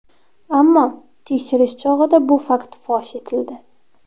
Ammo tekshirish chog‘ida bu fakt fosh etildi.